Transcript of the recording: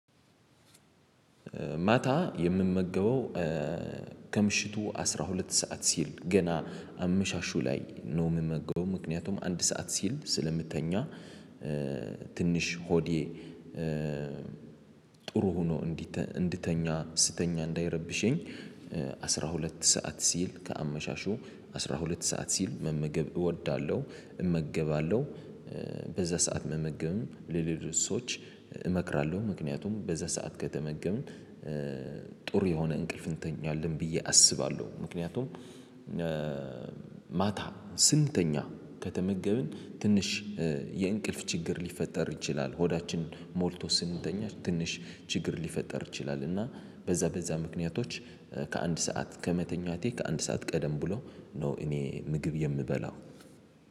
ማታ የምመገበው ከምሽቱ አስራ ሁለት ሰዓት ሲል ገና አምሻሹ ላይ ነው የምመገበው ምክንያቱም አንድ ሰዓት ሲል ስለምተኛ ትንሽ ሆዴ ጥሩ ሆኖ እንዲተ እንድተኛ ስተኛ እንዳይረብሸኝ። ሁለት ሰዓት ሲል ከአመሻሹ አስራ ሁለት ሰዓት ሲል መመገብ እወዳለሁ እመገባለሁ በዛ ሰዓት መመገብም ለሌሎች ሰዎች እመክራለሁ። ምክንያቱም በዛ ሰዓት ከተመገብን ጥሩ የሆነ እንቅልፍ እንተኛለን ብዬ አስባለሁ ምክንያቱም። ማታ ስንተኛ ከተመገበን ትንሽ የእንቅልፍ ችግር ሊፈጠር ይችላል። ሆዳችን ሞልቶ ስንተኛ ትንሽ ችግር ሊፈጠር ይችላል። እና በዛ በዛ ምክንያቶች ከአንድ ሰዓት ከመተኛቴ ከአንድ ሰዓት ቀደም ብሎ ነው። እኔ ምግብ የምበላው